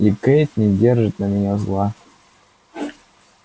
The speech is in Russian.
и кэйд не держит на меня зла